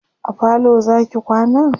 a falo Zaki kwana?